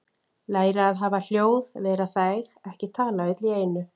Læra að hafa hljóð- vera þæg- ekki tala öll í einu